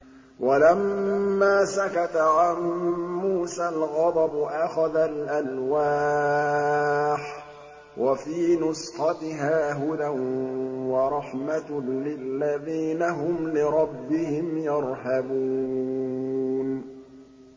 وَلَمَّا سَكَتَ عَن مُّوسَى الْغَضَبُ أَخَذَ الْأَلْوَاحَ ۖ وَفِي نُسْخَتِهَا هُدًى وَرَحْمَةٌ لِّلَّذِينَ هُمْ لِرَبِّهِمْ يَرْهَبُونَ